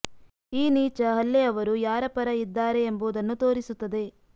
ಈ ನೀಚ ಹಲ್ಲೆ ಅವರು ಯಾರ ಪರ ಇದ್ದಾರೆ ಎಂಬುದನ್ನು ತೋರಿಸುತ್ತದೆ